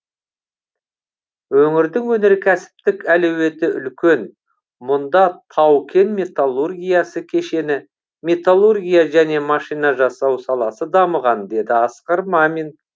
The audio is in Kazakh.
өңірдің өнеркәсіптік әлеуеті үлкен мұнда тау кен металлургиясы кешені металлургия және машина жасау саласы дамыған деді асқар мамин